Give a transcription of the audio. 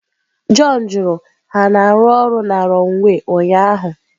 John jụrụ, Ha na-arụ ọrụ na runway ụnyaahụ?